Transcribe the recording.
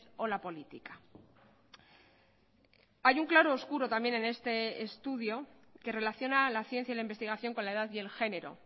o la política hay un claro oscuro también en este estudio que relaciona la ciencia y la investigación con la edad y el género